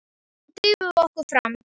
Nú drífum við okkur fram!